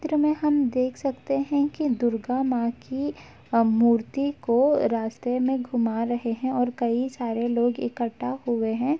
चित्र में हम देख सकते है कि दुर्गा मां की अ मूर्ति को रास्ते मे घुमा रहे हैं और कई सारे लोग इक्कठा हुए हैं।